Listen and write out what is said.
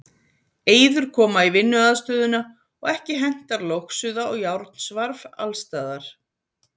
Eyður koma í vinnuaðstöðuna og ekki hentar logsuða og járnsvarf alls staðar.